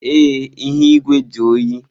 Ee, ihu igwe dị oyi.